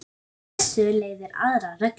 Af þessu leiðir aðra reglu